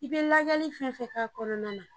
I be lajɛli fɛn fɛn ka kɔnɔna na